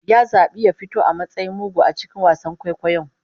Ya zabi ya fito a matsayin mugu a cikin wasan kwaikwayon